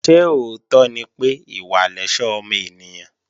Ṣé òótọ́ ni pé, ìwà lẹ̀ṣọ́ ọmọ ènìyàn?